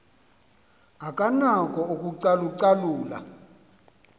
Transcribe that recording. akanako ukucalu calula